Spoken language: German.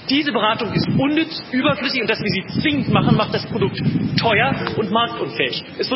Diese Beratung ist unnütz, überflüssig, und dass wir sie zwingend machen, macht das Produkt teuer und marktunfähig.